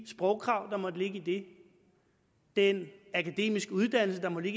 sprogkrav der måtte ligge i det den akademiske uddannelse der måtte